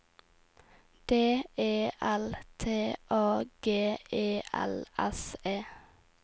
D E L T A G E L S E